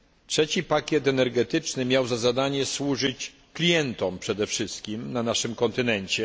Trzeci pakiet energetyczny miał za zadanie służyć klientom przede wszystkim na naszym kontynencie.